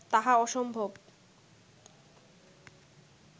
তাহা অসম্ভব